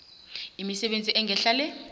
imisebenzi engehla le